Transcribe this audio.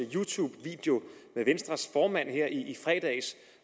you tube video med venstres formand her i fredags